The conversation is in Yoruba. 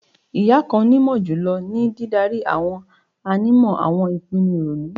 Iya kan mọ julọ julọ ni didari awọn ànímọ awọn ipinnu ironu